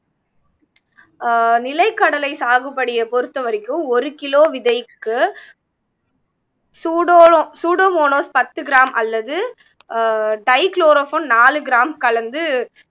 அஹ் நிலக்கடலை சாகுபடியை பொறுத்தவரைக்கும் ஒரு கிலோ விதைக்கு சூடோ சூடோமோனோஸ் பத்து கிராம் அல்லது அஹ் டைக்ளோரோபோன் நாலு கிராம் கலந்து